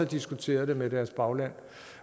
diskuteret det med deres bagland